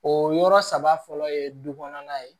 O yɔrɔ saba fɔlɔ ye du kɔnɔna ye